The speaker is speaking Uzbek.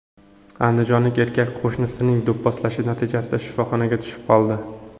Andijonlik erkak qo‘shnisining do‘pposlashi natijasida shifoxonaga tushib qoldi.